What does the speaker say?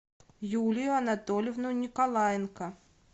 юлию анатольевну николаенко